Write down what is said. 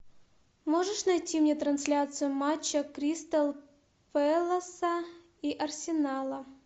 можешь найти мне трансляцию матча кристал пэласа и арсенала